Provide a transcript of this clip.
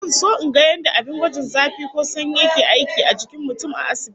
Zan so in ga yadda abin gwajin zafi ko sanyi yake aiki a jikin mutum a asibiti